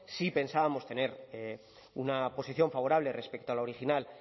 sí pensábamos tener una posición favorable respecto a la original